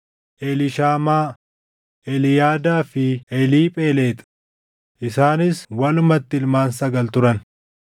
Eliishaamaa, Eliyaadaa fi Eliiphelexi; isaanis walumatti ilmaan sagal turan.